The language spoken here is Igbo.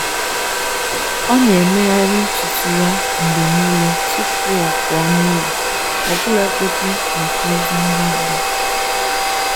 Ọ́ nà-éméghàrị́ ntùtù yá mgbè nìlé tupú ọ́ pụ́ọ́ n’ụ́lọ́, ọ́bụ́làgọ́dị́ màkà ózì ngwá ngwá.